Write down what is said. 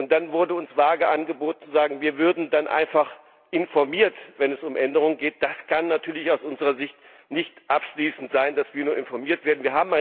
Dann wurde uns vage angeboten, wir würden einfach informiert, wenn es um Änderungen geht. Das kann natürlich aus unserer Sicht nicht abschließend sein, dass wir nur informiert werden.